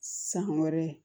San wɛrɛ